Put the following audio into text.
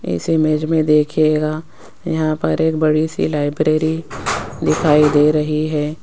इस इमेज मे देखियेगा यहां पर एक बड़ी सी लाइब्रेरी दिखाई दे रही है।